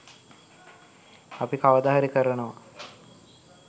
අපි කවදා හරි කරනවා.